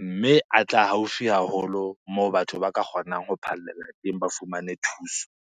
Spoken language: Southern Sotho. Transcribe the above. Mme a tla haufi haholo moo batho ba ka kgonang ho phallela teng ba fumane thuso.